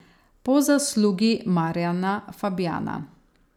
Po zaslugi Marjana Fabjana.